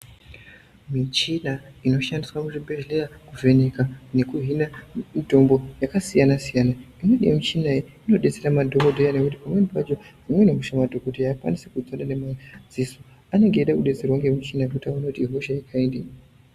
Michina inoshandiswa muchibhehleya kuvheneka nekuhina mutombo yakasiyana-siyana. Imweni yemichina iyi inodetsera madhogodheya nekuti pamweni pacho imweni hosha madhogodheya haakwanisi kuiona ngemadziso, anenge eidetserwa ngemichina kuona kuti ihosha yekaingeyi.